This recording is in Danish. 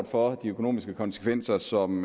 for de økonomiske konsekvenser som